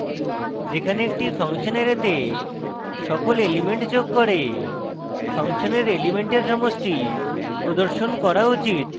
যেখানে একটি function অ্যারেতে সকল elements যোগ করে function এর elements সমষ্টি প্রদর্শন করা উচিত